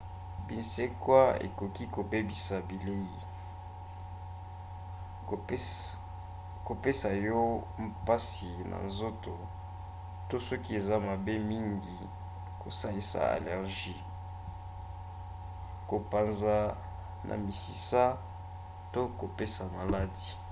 binsekwa ekoki kobebisa bilei kopesa yo mpasi na nzoto to soki eza mabe mingi kosalisa allergie kopanza na misisa to kopesa maladi